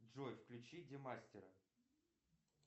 джой включи демастера